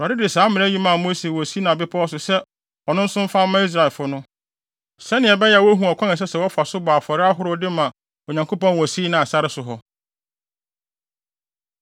Awurade de saa mmara yi maa Mose wɔ Sinai Bepɔw so sɛ ɔno nso mfa mma Israelfo no, sɛnea ɛbɛyɛ a wobehu ɔkwan a ɛsɛ sɛ wɔfa so bɔ wɔn afɔre ahorow no de ma Onyankopɔn wɔ Sinai sare so hɔ.